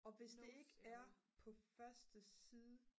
og hvis det ikke er på første side